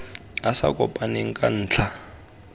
a sa kopaneng ka ntlha